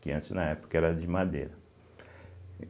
Que antes, na época, era de madeira.